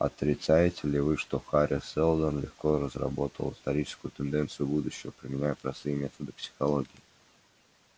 отрицаете ли вы что хари сэлдон легко разработал историческую тенденцию будущего применяя простые методы психологии